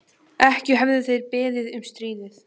Ekki höfðu þeir beðið um stríðið.